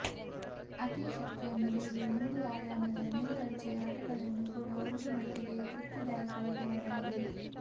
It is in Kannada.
ಅತಿ ಶಕ್ತಿಯನ್ನು ಬೇಡುವ ಮೂರು ಆಯಾಮದ ಮೇಲ್ದರ್ಜೆಯ ಆಟಗಳನ್ನು ಕೂಡ ಒಂದು ಮಟ್ಟಿಗೆ ತೃಪ್ತಿದಾಯಕವಾಗಿ ಆಡಬಹುದು